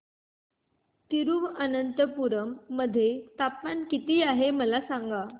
तिरूअनंतपुरम मध्ये तापमान किती आहे मला सांगा